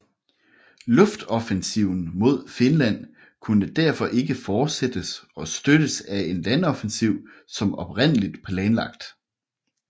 Luftoffensiven mod Finland kunne derfor ikke fortsættes og støttes af en landoffensiv som oprindeligt planlagt